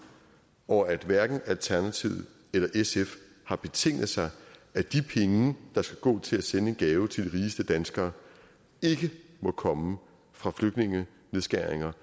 og at hverken alternativet eller sf har betinget sig at de penge der skal gå til at sende en gave til de rigeste danskere ikke må komme fra nedskæringer